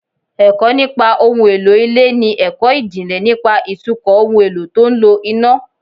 Ẹ̀kọ́ nípa ohun èlò ilé ni ẹ̀kọ́ ìjìnlẹ̀ nípa ìtukọ̀ ohun èlò tó ń lo iná